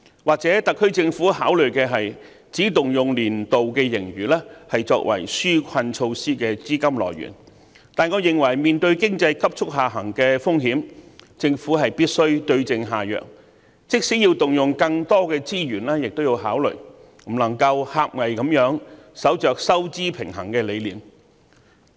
或許特區政府認為，只應動用年度盈餘作為紓困措施的資金來源，但我認為面對經濟急速下行的風險，政府必須對症下藥，即使要動用更多資源，亦應予以考慮，不能夠狹隘地守着收支平衡的理念。